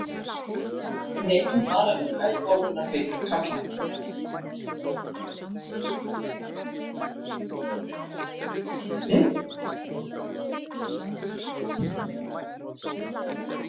Hrefnugötu